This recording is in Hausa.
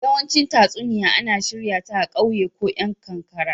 yawanci tatsuniya ana shirya ta a kauye ko yan kankara.